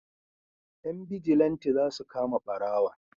Yan bijilanti za su kama barawon